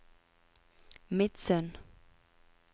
Midsund